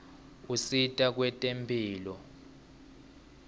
usita kwetemphilo